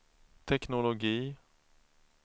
teknologi